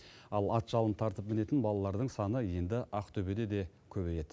ал ат жалын тартып мінетін балалардың саны енді ақтөбеде де көбейеді